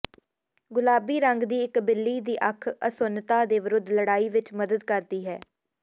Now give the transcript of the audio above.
ਗੁਲਾਬੀ ਰੰਗ ਦੀ ਇਕ ਬਿੱਲੀ ਦੀ ਅੱਖ ਅਸੁੰਨਤਾ ਦੇ ਵਿਰੁੱਧ ਲੜਾਈ ਵਿੱਚ ਮਦਦ ਕਰਦੀ ਹੈ